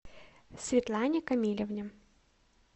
светлане камилевне